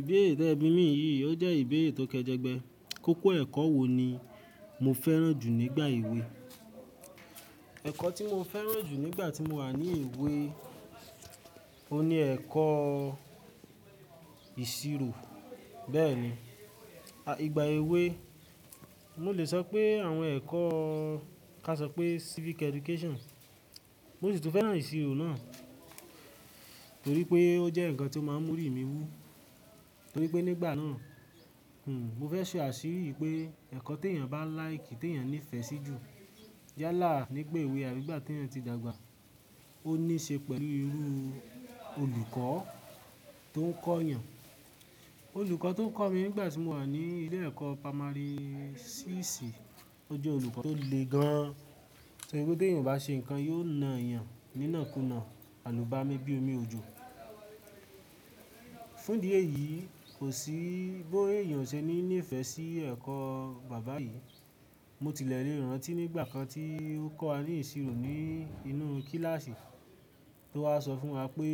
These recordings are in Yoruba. Ìbéèrè tẹ́ẹ̀ bí yìí, ó jẹ́ ìbéèrè tó kẹjẹ gbẹ. Kókó ẹ̀kọ́ wo ni mo fẹ́ràn jù nígbà èwe? Ẹ̀kọ́ tí mo fẹ́ràn jù nígbà tí mo wà ní èwe, o ní ẹ̀kọ́ ìṣirò. Bẹ́ẹ̀ni, à, ìgbà èwe, mo lè sọ pé àwọn ẹ̀kọ́ ká sọ pé Civic Education. Mo sì tún fẹ́ràn ìṣirò náà torí pé ó jẹ́ ǹkan tí ó máa ń mú oríwú torí pé nígbà náà, hm, mo fẹ́ ṣe àṣírí pé ẹ̀kọ́ tí èèyàn bá like, tí èèyàn nífẹ̀ẹ́ sí jù yálà nígbà èwe àbí ìgbà tí èèyàn ti dàgbà. Ó ní ṣe pẹ̀lú irú olùkọ́ tó ń kọ́ èèyàn. Olùkọ́ tó ń kọ́ mi nígbà tí mo wà ní ilé ẹ̀kọ́ pámárì ṣíìṣì, o jẹ́ olùkọ́ tó le gan-an, torí pé bí èèyàn o bá ṣe ǹkan, yóò na èèyàn nínà kúnà, alùbámi bí omi òjò. Fún ìdí èyí, kò sí bí èèyàn ò ṣe ní nífẹ̀ẹ́ sí ẹ̀kọ́ bàbá yìí. Mo tilẹ̀ lè rántí nígbà kan tí ó kọ́ wa ní ìṣirò ní inú kíláàsì, tó wá sọ fún wa pé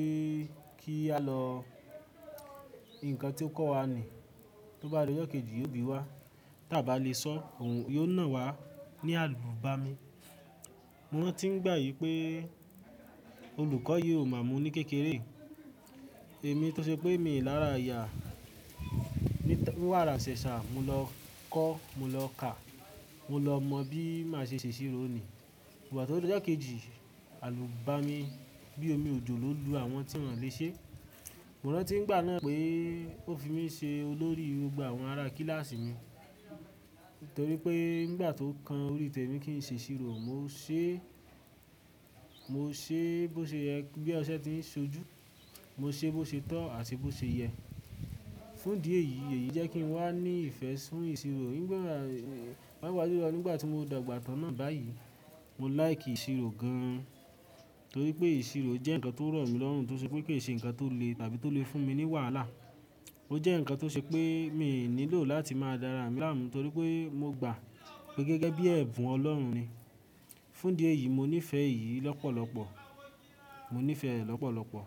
kí á lọ-- ǹkan tí ó kọ́ wa ni, tó bá di ọjọ́ kejì, yó bí wá. Tí a bá le sọ̀, òun yóò na wa ní alùbámi. Mo má n ti gbà wí pé olùkọ́ yìí ò mà mu ní kékeré. Èmi tó ṣe pé mi ò lára ìyá. Ni tá-- ní wá ra sẹ̀sà, mo lọ kọ́, mo lọ kà, mo lọ mọ bí màá ṣe ṣe ìṣirò ni. Ìgbà tó dibọjọ́ kejì, alùbámi bí omi òjò ló lu àwọn tí wọ́n le ṣe. Mo rántí nígbà náà pé ó fi mí ṣe olórí gbogbo àwọn ará kíláàsì mi torí pé nígbà tó ń kan orí tẹ́ mi kí n ṣe ìṣirò, mo ṣe, mo ṣe bó ṣe yẹ bí ọṣẹ ti ń ṣojú. Mo ṣe bó ṣe tọ́ àti bó ṣe yẹ. Fún ìdí èyí, èyí jẹ́ kí n wá ní ìfẹ́ fún ìṣirò. Nígbà bá wá sí, nígbà tí mo dàgbà tán náà báyìí, mo like ìṣirò gan-an torí pé ìṣirò jẹ́ ǹkan tó rọ̀ mí lọ́hùn tó ṣe pé kì í ṣe ǹkan tó le tàbí tó le fún mi ní wàhálà. Ó jẹ́ ǹkan tó ṣe pé mi ò nílò láti máa dára mì lámùú torí pé mo gba pé gẹ́gẹ́ bí ẹ̀bùn Ọlọ́run ni. Fún ìdí èyí, mo nífẹ̀ẹ́ èyí lọ́pọ̀lọpọ̀, mo nífẹ̀ẹ́ ẹ̀ lọ́pọ̀lọpọ̀